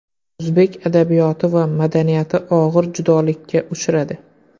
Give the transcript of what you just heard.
O‘zbek adabiyoti va madaniyati og‘ir judolikka uchradi.